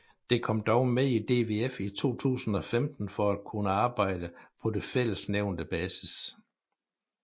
Det kom dog med i DVF i 2015 for at kunne arbejde på det nævnte fælles basis